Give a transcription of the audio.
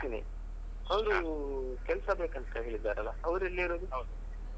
ಹೌದು ನೀವು ಕೆಲ್ಸ ಬೇಕಂತ ಹೇಳಿದರಲ್ಲ ಅವ್ರ್ ಎಲ್ಲಿ ಇರೋದು?